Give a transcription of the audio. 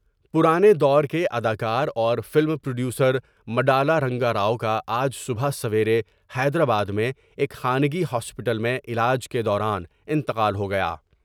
پرانے دور کے اداکاراورفلم پروڈیوسر مڈالارنگاراؤ کا آج صبح سویرے حیدرآباد میں ایک خانگی ہاسپٹل میں علاج کے دوران انتقال ہو گیا ۔